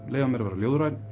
leyfa mér að vera ljóðrænn